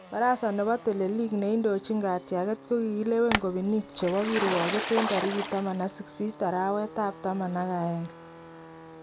Barassa nebo teleliik neindoichin katyakeet kokilewen kobiinik chebo kirwakeet en tarikit 18 araweetab taman ak aeng